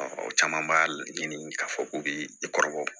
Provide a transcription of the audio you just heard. Ɔ caman b'a la ɲini k'a fɔ k'u bɛ i kɔrɔbɔ